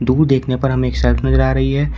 दूर देखने पर हमें एक शेल्फ नजर आ रही है।